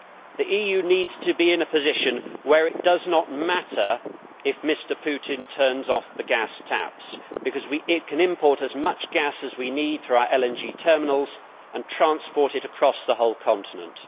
The EU needs to be in a position where it does not matter if Mr Putin turns off the gas taps because we can import as much gas as we need though our liquefied natural gas terminals and transport it across the whole continent.